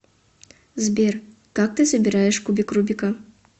сбер как ты собираешь кубик рубика